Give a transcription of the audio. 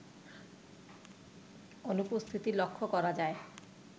অনুপস্থিতি লক্ষ করা যায়